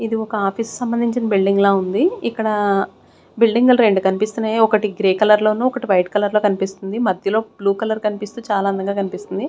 ఇది ఒక ఆఫీస్ సంబంధించిన బిల్డింగ్లా ఉంది ఇక్కడ బిల్డింగులు రెండు కనిపిస్తున్నాయి ఒకటి గ్రే కలర్ లోను ఒకటి వైట్ కలర్ లో కనిపిస్తుంది మధ్యలో బ్లూ కలర్ కనిపిస్తూ చాలా అందంగా కనిపిస్తుంది.